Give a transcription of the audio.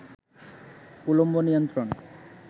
উলম্ব নিয়ন্ত্রণ